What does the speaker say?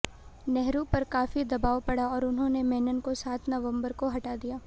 नेहरू पर काफ़ी दबाव पड़ा और उन्होंने मेनन को सात नवंबर को हटा दिया